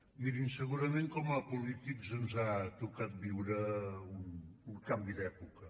mirin segurament com a polítics ens ha tocat viure un canvi d’època